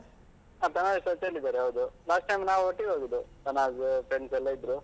ಹಾ ತನಾಝ್ touch ಅಲ್ಲಿದ್ದಾರೆ, ಹೌದು. last time ನಾವು ಒಟ್ಟಿಗೆ ಹೋದದ್ದು. ತನಾಝ್ಸ್ , friends ಎಲ್ಲಾ ಇದ್ರು.